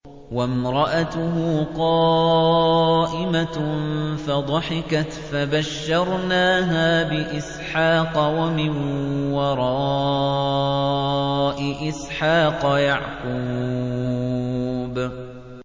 وَامْرَأَتُهُ قَائِمَةٌ فَضَحِكَتْ فَبَشَّرْنَاهَا بِإِسْحَاقَ وَمِن وَرَاءِ إِسْحَاقَ يَعْقُوبَ